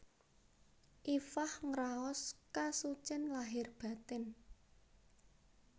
Iffah ngraos kasucen lahir batin